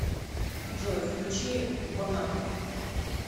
джой включи бонапп